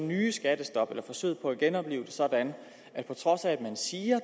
nye skattestop eller forsøget på at genoplive det sådan at på trods af at man siger